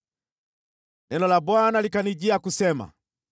Neno la Bwana likanijia kusema: